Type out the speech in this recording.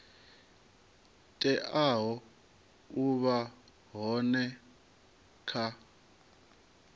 teaho u vha hone kha